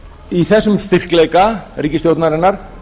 í þessum styrkleika ríkisstjórnarinnar